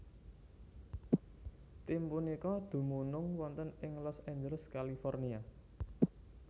Tim punika dumunung wonten ing Los Angeles California